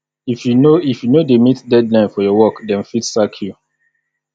if you no if you no dey meet deadline for your work dem fit sack you